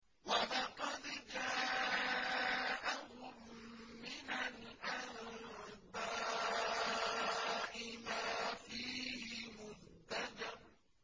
وَلَقَدْ جَاءَهُم مِّنَ الْأَنبَاءِ مَا فِيهِ مُزْدَجَرٌ